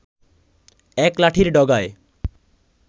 এক লাঠির ডগায়